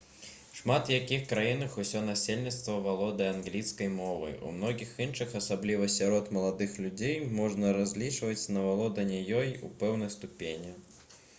у шмат якіх краінах усё насельніцтва валодае англійскай мовай у многіх іншых асабліва сярод маладых людзей можна разлічваць на валоданне ёй у пэўнай ступені